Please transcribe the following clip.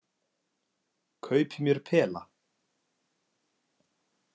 Kaupi mér pela.